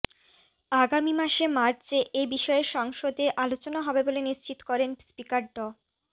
আগামী মার্চে এ বিষয়ে সংসদে আলোচনা হবে বলেন নিশ্চিত করেন স্পিকার ড